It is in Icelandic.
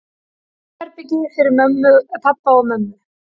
Svefnherbergi fyrir pabba og mömmu.